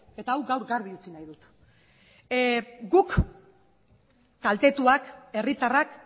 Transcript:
eta hau gaur garbi utzi nahi dut guk kaltetuak herritarrak